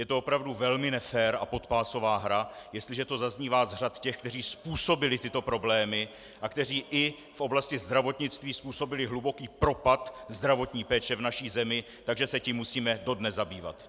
Je to opravdu velmi nefér a podpásová hra, jestliže to zaznívá z řad těch, kteří způsobili tyto problémy a kteří i v oblasti zdravotnictví způsobili hluboký propad zdravotní péče v naší zemi, takže se tím musíme dodnes zabývat!